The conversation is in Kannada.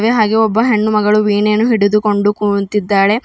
ಹಾಗೆ ಒಬ್ಬ ಹೆಣ್ಣುಮಗಳು ವೀಣೆಯನ್ನು ಹಿಡಿದುಕೊಂಡು ಕೂಂತಿದ್ದಾಳೆ.